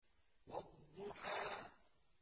وَالضُّحَىٰ